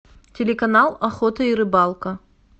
телеканал охота и рыбалка